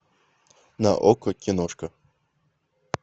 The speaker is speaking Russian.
на окко киношка